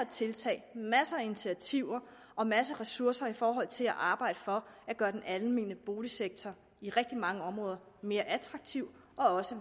tiltag masser af initiativer og masser af ressourcer i forhold til at arbejde for at gøre den almene boligsektor i rigtig mange områder mere attraktiv og også